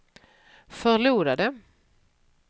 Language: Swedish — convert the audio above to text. förlorade